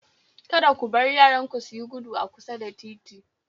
Kada ku bar yaranku suyi gudu a kusa da titi